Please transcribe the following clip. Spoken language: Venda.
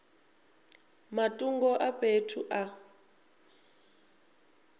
nga matungo a fhethu a